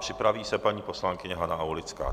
Připraví se paní poslankyně Hana Aulická.